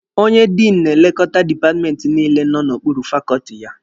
Onye Diinụ na-elekota dipatmenti niile nọ n'okpuru fakọọtị ya